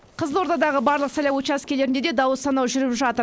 қызылордадағы барлық сайлау учаскелерінде де дауыс санау жүріп жатыр